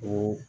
Ko